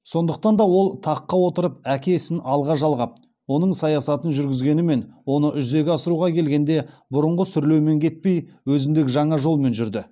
сондықтан да ол таққа отырып әке ісін алға жалғап оның саясатын жүргізгенімен оны жүзеге асыруға келгенде бұрынғы сүрлеумен кетпей өзіндік жаңа жолмен жүрді